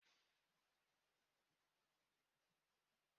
Okpete shuga na-amasị gị?